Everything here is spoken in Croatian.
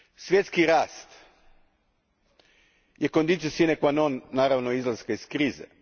Svjetski rast je conditio sine qua non naravno izlaska iz krize.